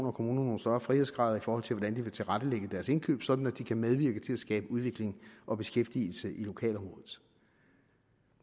og kommuner nogle større frihedsgrader i forhold til hvordan de vil tilrettelægge deres indkøb sådan at de kan medvirke til at skabe udvikling og beskæftigelse i lokalområdet